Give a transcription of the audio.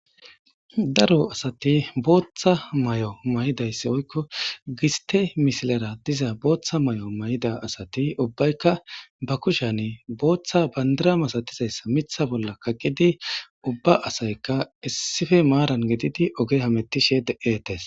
daro asati booththa may7o may7dayssi oykko giste misilara diza booththa may7o may7da asati ubbaykka ba kushane booththa bandira masatizayssa mitha bolla kagqidi ubba asayka issife maaran gididi oge hamettishe de7eetes